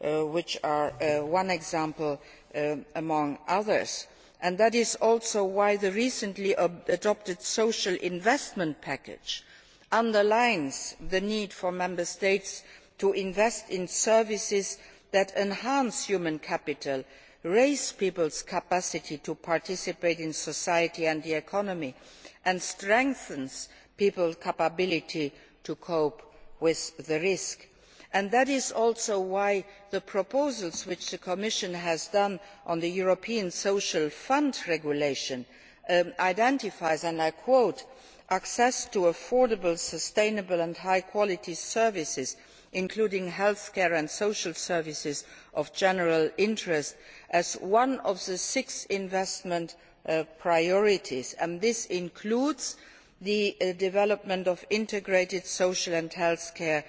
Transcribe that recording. strategy, which is one example among others. This is why the recent Social Investment Package underlines the need for Member States to invest in services which enhance human capital, raise people's capacity to participate in society and the economy, and strengthen people's ability to cope with risks. This is also why the proposals which the Commission has made on the regulation of the European Social Fund identify access to affordable, sustainable and high quality services, including health care and social services of general interest' as one of the six investment priorities. This includes the development of integrated social